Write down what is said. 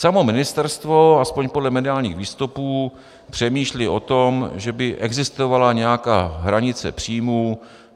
Samo ministerstvo, alespoň podle mediálních výstupů, přemýšlí o tom, že by existovala nějaká hranice příjmů.